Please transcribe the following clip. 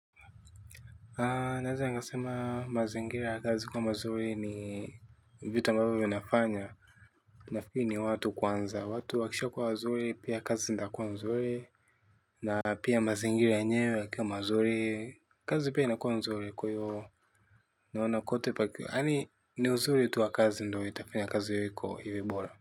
Naweza nigasema mazingira ya kazi kuwa mazuri ni vitu ambavyo vinafanya nafikiri ni watu kwanza, watu wakisha kuwa wazuri pia kazi zindakua mazuri na pia mazingira yenyewe yakiwa mazuri kazi pia inakua nzuri kwa hivyo naona kote paki yani ni uzuri tuwa kazi ndo itafanya kazi yoyiko iwe bora.